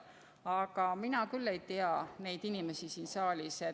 Aga mina küll ei tea neid inimesi siin saalis.